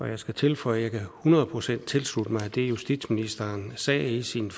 jeg skal tilføje at jeg hundrede procent kan tilslutte mig det justitsministeren sagde i sin